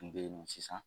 Kun bɛ sisan